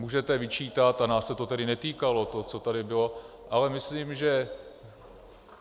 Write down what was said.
Můžete vyčítat - a nás se to tedy netýkalo, to, co tady bylo - ale myslím, že...